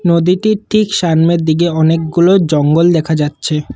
নদীটির ঠিক সামনের দিকে অনেকগুলো জঙ্গল দেখা যাচ্ছে।